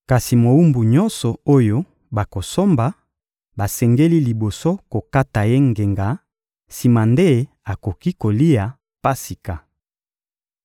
Kasi mowumbu nyonso oyo bakosomba, basengeli liboso kokata ye ngenga, sima nde akoki kolia Pasika.